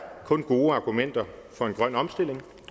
gode argumenter for en grøn omstilling